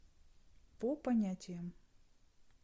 по понятиям